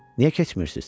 Niyə keçmirsiniz?"